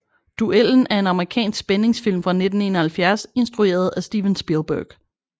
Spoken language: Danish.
Duellen er en amerikansk spændingsfilm fra 1971 instrueret af Steven Spielberg